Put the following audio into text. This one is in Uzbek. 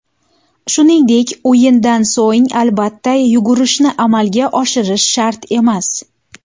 Shuningdek, o‘yindan so‘ng albatta yugurishni amalga oshirish shart emas”.